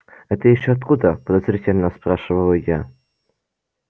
это ещё откуда подозрительно спрашиваю я